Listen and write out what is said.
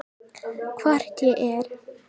Hvort ég er.